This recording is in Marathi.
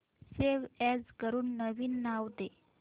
सेव्ह अॅज करून नवीन नाव दे